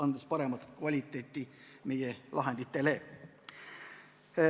Nii paraneb nende lahendite kvaliteet.